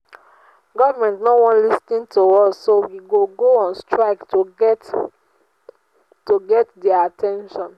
government no wan lis ten to us so we go go on strike to get to get their at ten tion